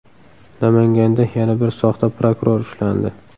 Namanganda yana bir soxta prokuror ushlandi.